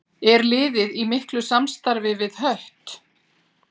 Er liðið í miklu samstarfi við Hött?